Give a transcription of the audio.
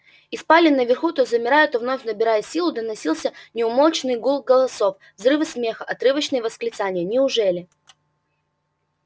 из спален наверху то замирая то вновь набирая силу доносился неумолчный гул голосов взрывы смеха отрывочные восклицания неужели